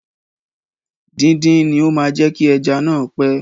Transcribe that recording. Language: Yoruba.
Díndín ni ó máa jẹ kí ẹja náa pẹ.